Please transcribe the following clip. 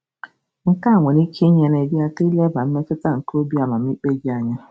Nke a nwere ike inyere gị aka ileba mmetụta nke obi amamikpe gị anya.